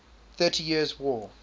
thirty years war